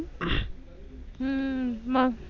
हम्म